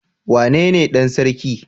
Wane ne Dan sarki?